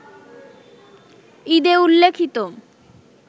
ঈদে উল্লেখিত